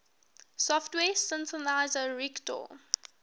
software synthesizer reaktor